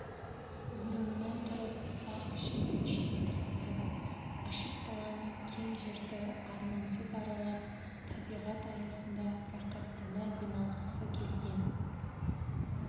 орнынан тұрып бақ ішінен шығып кетті ашық даланы кең жерді армансыз аралап табиғат аясында рақаттана демалғысы келген